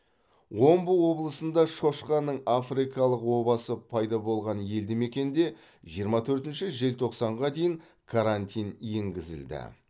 омбы облысында шошқаның африкалық обасы пайда болған елді мекенде жиырма төртінші желтоқсанға дейін карантин енгізілді